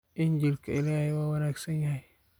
Injiilka Ilaahay waa wanaagsan yahay